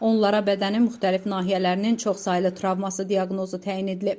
Onlara bədənin müxtəlif nahiyələrinin çoxsaylı travması diaqnozu təyin edilib.